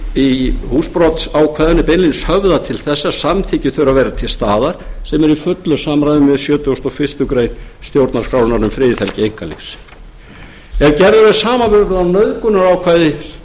þarna er í húsbrotsákvæðinu beinlínis höfðað til þess að samþykki þurfi að vera til sem er í fullu samræmi við sjötugasta og fyrstu grein stjórnarskrárinnar um friðhelgi einkalífs þegar gerður samanburður á nauðgunarákvæði